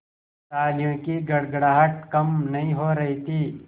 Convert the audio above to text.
तालियों की गड़गड़ाहट कम नहीं हो रही थी